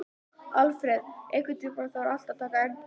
Alfreð, einhvern tímann þarf allt að taka enda.